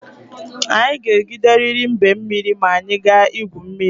Anyị ga-egideriri mbe mmiri ma anyị gaa igwu mmiri.